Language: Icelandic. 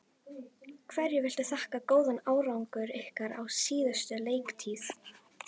Hverju viltu þakka góðan árangur ykkar á síðustu leiktíð?